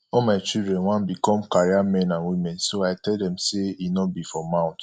all my children wan become career men and women so i tell dem say e no be for mouth